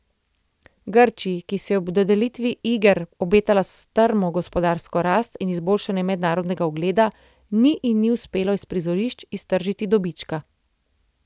Grčiji, ki si je ob dodelitvi iger obetala strmo gospodarsko rast in izboljšanje mednarodnega ugleda, ni in ni uspelo iz prizorišč iztržiti dobička.